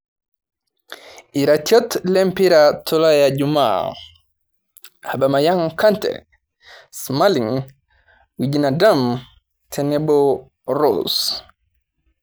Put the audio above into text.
Iratiot le mpira tolaya Jumaa: Abamayang' Kante, Smalling, Wijnadum tenebo Rose